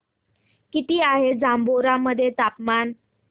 किती आहे जांभोरा मध्ये तापमान